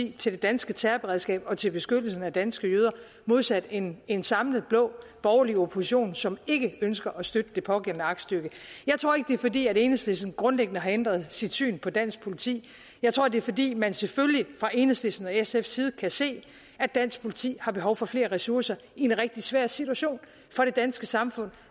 til det danske terrorberedskab og til beskyttelse af danske jøder modsat en en samlet blå borgerlig opposition som ikke ønsker at støtte det pågældende aktstykke jeg tror ikke det er fordi enhedslisten grundlæggende har ændret sit syn på dansk politi jeg tror det er fordi man selvfølgelig fra enhedslisten og sfs side kan se at dansk politi har behov for flere ressourcer i en rigtig svær situation for det danske samfund